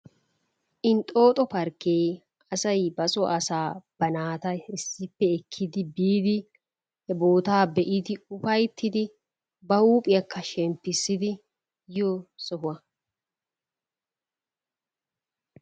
Inxxooxo parkkee asay basoo asaa, ba naata issippe ekkidi biidi he boottaa be'idi ufayttidi ba huuphphiyakka shemppissidi yiyoo sohuwa.